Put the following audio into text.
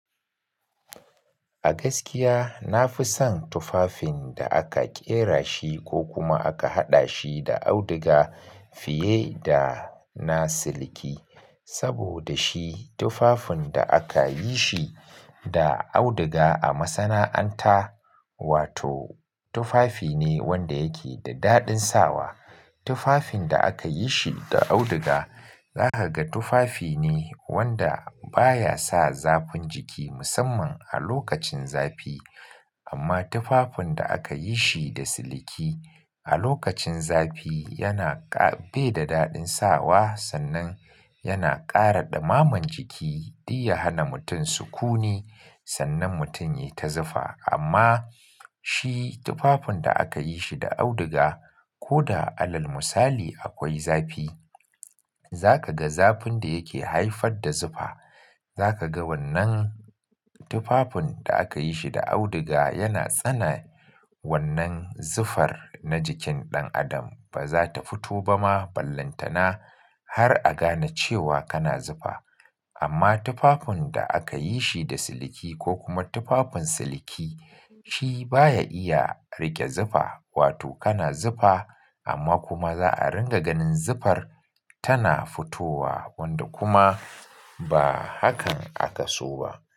A gaskiya na fi son tufafin da aka ƙera shi ko kuma aka haɗa shi da auduga fiye da na siliki. Saboda shi tufafin da aka yi shi da auduga a masana'anta, wato tufafi ne wanda yake da daɗin sawa. Tufafin da aka yi shi da auduga, za ka ga tufafi ne wanda baya sa zafin jiki musamman a lokacin zafi. Amma tufafin da aka yi shi da siliki a lokacin zafi yana ƙa-- bai da daɗin sawa sannan yana ƙara ɗamaman jiki, duk ya hana mutum sukuni sannan mutum ya ta zufa. Amma shi tufafin da aka yi shi da auduga ko da alal musali akwai zafi, za ka ga zafin da yake haifar da zufa, za ka ga wannan tufafin da aka yi shi da auduga yana tsane wannan zufar na jikin ɗan adam. Ba za ta fito ba ma ballantana har a gane cewa kana zufa. Amma tufafin da aka yi shi da siliki ko kuma tufafin siliki shi baya iya riƙe zufa, wato kana zufa amma kuma za a ringa ganin zufar tana fitowa wanda kuma ba hakan aka so ba.